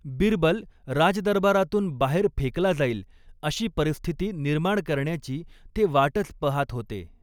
बिरबल राजदरबारातून बाहेर फेकला जाईल, अशी परिस्थिती निर्माण करण्याची ते वाटच पहात होते.